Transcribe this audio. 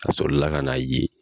A sɔrɔ la ka n'a ye